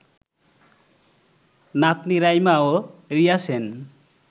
নাতনি রাইমা ও রিয়া সেন